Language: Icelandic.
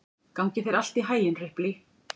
Gangi þér allt í haginn, Ripley.